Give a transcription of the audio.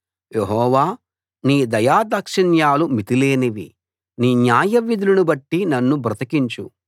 యెహోవా నీ దయాదాక్షిణ్యాలు మితిలేనివి నీ న్యాయవిధులను బట్టి నన్ను బ్రతికించు